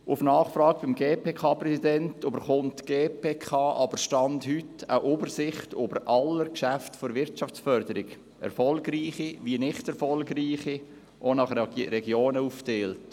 Gemäss Nachfrage beim GPK-Präsidenten erhält die GPK aber – Stand heute – eine Übersicht über alle Geschäfte der Wirtschaftsförderung, erfolgreiche wie nicht erfolgreiche und nach Regionen aufgeteilt.